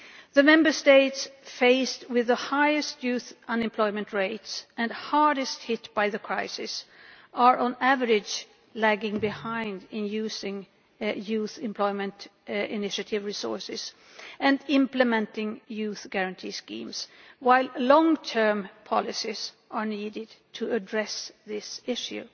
The Member States faced with the highest youth unemployment rates and hardest hit by the crisis are, on average, lagging behind in using Youth Employment Initiative resources and implementing Youth Guarantee schemes, while long term policies are needed to address this issue.